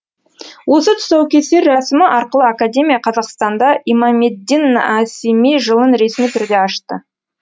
осы тұсаукесер рәсімі арқылы академия қазақстанда имамеддин нәсими жылын ресми түрде ашты